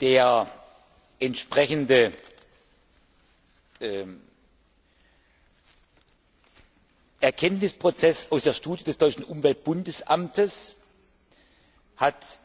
Der entsprechende Erkenntnisprozess aus der Studie des Deutschen Umweltbundesamtes hat